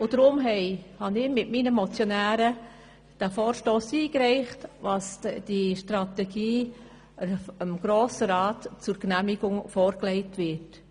Deshalb habe ich mit meinen Mitmotionären den Vorstoss eingereicht, damit diese Strategie dem Grossen Rat zur Genehmigung vorgelegt wird.